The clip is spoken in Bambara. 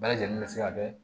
Bɛɛ lajɛlen bɛ se ka kɛ